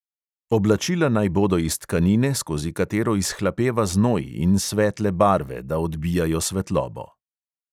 Oblačila naj bodo iz tkanine, skozi katero izhlapeva znoj, in svetle barve, da odbijajo svetlobo.